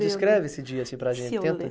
Descreve esse dia assim para a gente. Tenta